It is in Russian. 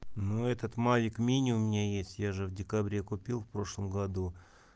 ну этот мавик мини у меня есть я же в декабре купил в прошлом году